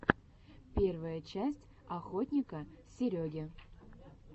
первая часть охотника сереги